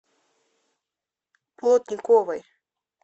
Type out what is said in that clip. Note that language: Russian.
плотниковой